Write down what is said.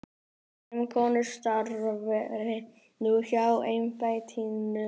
Fimm konur starfi nú hjá embættinu.